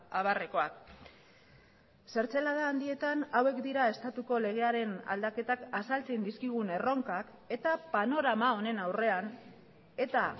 abarrekoak zertzelada handietan hauek dira estatuko legearen aldaketak azaltzen dizkigun erronkak eta panorama honen aurrean eta